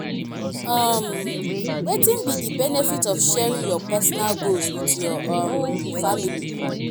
um wetin be di benefit of sharing your personal goals with your um family?